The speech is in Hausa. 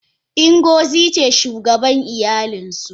Ingozi ce shugaban iyalinsu.